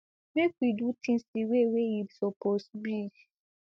make we do tins di way wey e suppose be